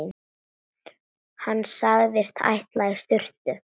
Hann sagðist ætla í sturtu.